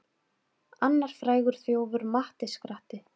Annar frægur þjófur, Matti skratti.